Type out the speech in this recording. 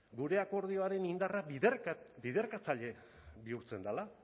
gure akordioaren indarrak biderkatzaile bihurtzen dela